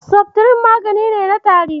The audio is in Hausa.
Seftirin magani ne na tari.